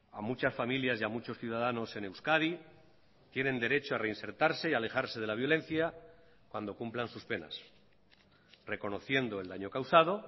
a muchas familias y a muchos ciudadanos en euskadi tienen derecho a reinsertarse y a alejarse de la violencia cuando cumplan sus penas reconociendo el daño causado